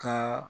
Ka